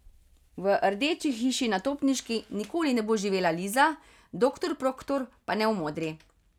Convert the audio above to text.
V rdeči hiši na Topniški nikoli ne bo živela Liza, doktor Proktor pa ne v modri.